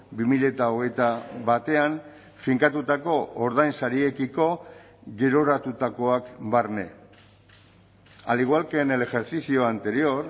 bi mila hogeita batean finkatutako ordainsariekiko geroratutakoak barne al igual que en el ejercicio anterior